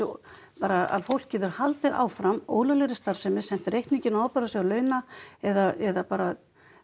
bara að fólk getur haldið áfram ólöglegri starfsemi sent reikninginn á launa eða bara